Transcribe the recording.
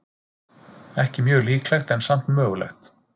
Ekki mjög líklegt, en samt mögulegt.